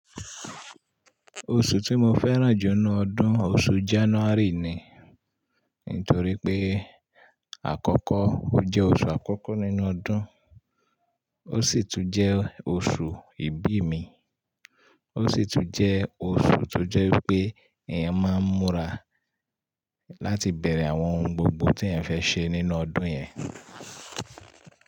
Oṣù tí mo fẹ́ràn jù inú ọdún, oṣù January ni. Nítorí pé, àkọ́kọ́ ó jẹ́ oṣù àkọ́kọ́ nínú ọdún, ó sì tún jẹ́ oṣù ìbí mi, ó sì tún jẹ́ oṣù tó jẹ́ pé èèyàn máa ń múra láti bẹ̀rẹ̀ àwọn ohun gbogbo tí èèyàn fẹ́ ṣe nínú ọdún yẹn.